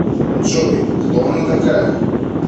джой кто она такая